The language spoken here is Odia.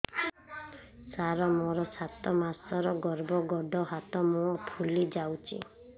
ସାର ମୋର ସାତ ମାସର ଗର୍ଭ ଗୋଡ଼ ହାତ ମୁହଁ ଫୁଲି ଯାଉଛି